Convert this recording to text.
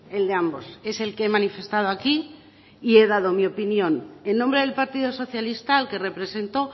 el de ambos es el que he manifestado aquí y he dado mi opinión en nombre del partido socialista al que represento